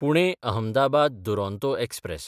पुणे–अहमदाबाद Duronto express